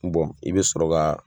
i bɛ sɔrɔ ka